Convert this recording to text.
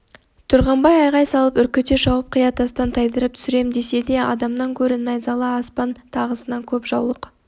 тұрғанбай айғай салып үркіте шауып қия тастан тайдырып түсірем десе де адамнан гөрі найзалы аспан тағысынан көп жаулық